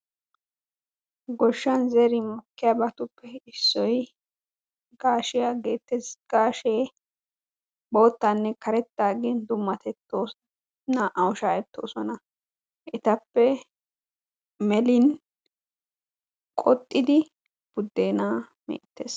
Goshshan zerin mokkiyabatuppe issoy gaashiya geettees. Gaashee boottaanne karettaa gini dummatettoosona. Naa''awu shaahettoosona etappe melin qoxxidi buddeenaa meettees.